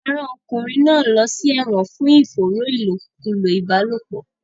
Wọn máa rán ọkùnrin náà lọ sí ẹ̀wọ̀n fún ìfòòró ìlòkulò ìbálòpọ̀.